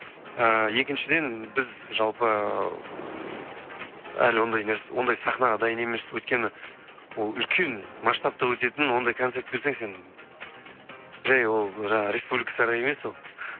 ііі екіншіден біз жалпы әлі ондай сахнаға дайын емес өйткені ол үлкен масштабта өтетін ондай концерт берсең сен жай ол жаңағы республика сарайы емес ол